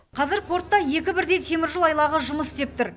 қазір портта екі бірдей теміржол айлағы жұмыс істеп тұр